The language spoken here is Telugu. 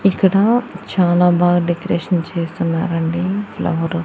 ఇక్కడ చాలా బాగా డెకరేషన్ చేస్తున్నారండి ఫ్లవరు --